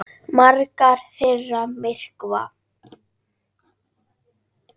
Margar þeirra myrkva.